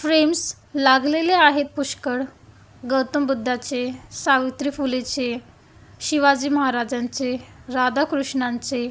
Frames लागलेले आहेत पुष्कळ गौतम बुद्धाचे सावित्री फुलेचे शिवाजी महाराजांचे राधाकृष्णांचे.